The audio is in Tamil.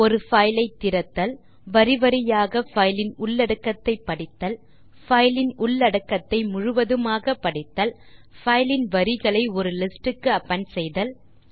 ஒரு பைல் ஐ திறத்தல் வரி வரியாக பைல் இன் உள்ளடக்கத்தை படித்தல் பைல் இன் உள்ளடக்கத்தை முழுவதுமாக படித்தல் பைல் இன் வரிகளை ஒரு லிஸ்டுக்கு அப்பெண்ட் செய்தல்